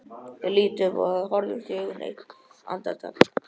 Ég lít upp og við horfumst í augu eitt andartak.